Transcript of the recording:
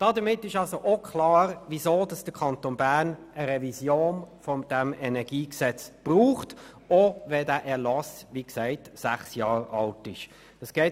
» Damit ist auch klar, weshalb der Kanton Bern eine Revision des Energiegesetzes braucht, auch wenn dieser Erlass erst sechs Jahre alt ist.